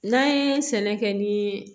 N'an ye sɛnɛ kɛ ni